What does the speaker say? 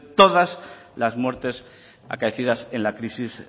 todas las muertes acaecidas en la crisis